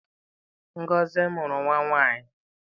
Ngozi mụrụ nwa nwanyị.